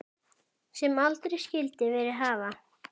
Sem aldrei skyldi verið hafa.